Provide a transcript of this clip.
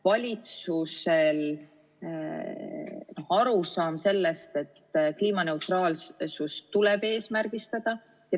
Valitsusel on ka arusaam sellest, et kliimaneutraalsust tuleb eesmärgistada.